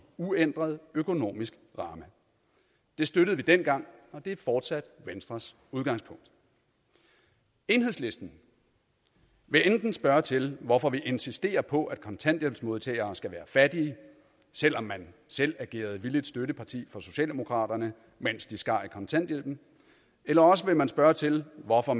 uændret økonomisk ramme det støttede vi dengang og det er fortsat venstres udgangspunkt enhedslisten vil enten spørge til hvorfor vi insisterer på at kontanthjælpsmodtagere skal være fattige selv om man selv agerede villigt støtteparti for socialdemokraterne mens de skar i kontanthjælpen eller også vil man spørge til hvorfor